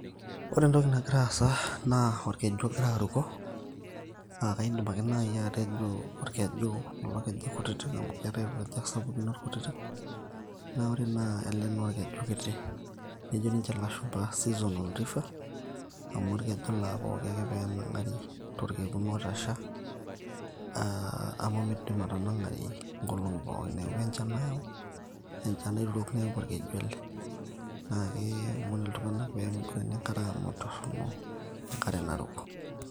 ore entoki nagira asa naa orkeju ogira aruko naakidim ake naaji atejo elekeju kiti amu keetae kulo kejek sapukin orkutitik naa ore ele naa orkeju kiti, naa kejo niche ilashumba seasonal river, amu torkekun otasha ake enang'ari amu midim atanang'ari inkolong'i kumok neeku enchan nayau.